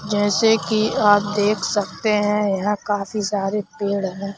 जैसे कि आप देख सकते हैं यहां काफी सारे पेड़ हैं।